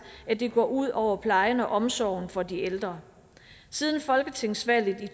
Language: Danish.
at det går ud over plejen og omsorgen for de ældre siden folketingsvalget i